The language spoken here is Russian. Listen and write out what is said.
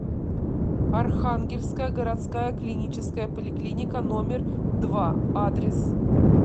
архангельская городская клиническая поликлиника номер два адрес